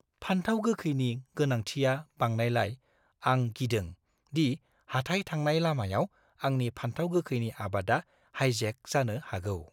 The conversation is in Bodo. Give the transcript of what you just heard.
फानथाव गोखैनि गोनांथिया बांनायलाय, आं गिदों दि हाथाइ थांनाय लामायाव आंनि फानथाव गोखैनि आबादा हाइजेक जानो हागौ।